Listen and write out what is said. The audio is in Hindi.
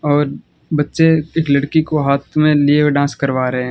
और बच्चे एक लड़की को हाथ में लिए हुए डांस करवा रहे हैं।